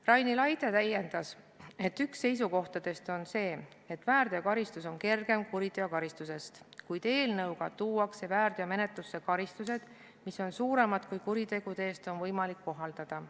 Raini Laide täiendas, et üks seisukohtadest on see, et väärteokaristus on kergem kuriteokaristusest, kuid eelnõuga tuuakse väärteomenetlusse karistused, mis on suuremad, kui kuritegude eest on võimalik kohaldada.